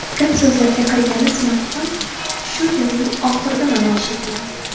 Gap-so‘zlarga qaraganda smartfon shu yilning oxirida namoyish etiladi.